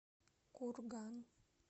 курган